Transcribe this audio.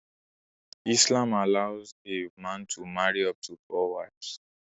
Islam allows a man to marry up to four wives